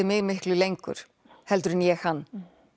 mig miklu lengur heldur en ég hann